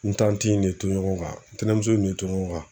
N in de to ɲɔgɔn kan ntɛnɛmuso de to ɲɔgɔn kan.